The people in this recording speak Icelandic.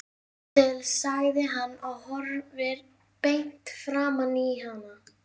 Sjáðu til, sagði hann og horfði beint framan í hana.